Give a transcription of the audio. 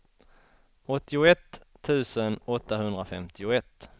åttioett tusen åttahundrafemtioett